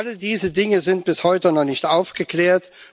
Alle diese Dinge sind bis heute noch nicht aufgeklärt.